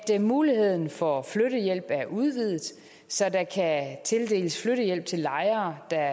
muligheden for flyttehjælp er udvidet så der kan tildeles flyttehjælp til lejere der